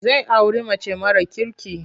Zai auri mace mara kirki.